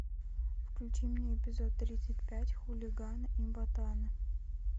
включи мне эпизод тридцать пять хулиганы и батаны